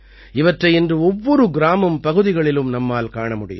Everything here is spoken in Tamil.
இவற்றை இன்று ஒவ்வொரு கிராமம்பகுதிகளிலும் நம்மால் காண முடியும்